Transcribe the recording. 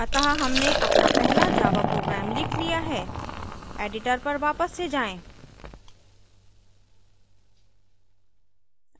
अतः हमने अपना पहला java program let लिया है editor पर वापस से जाएँ